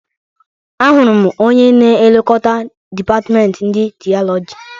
Ahụrụ m onye na e lekota dịpatment ndi Tịọlọgi.